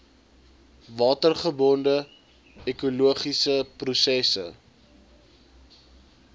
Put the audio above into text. watergebonde ekologiese prosesse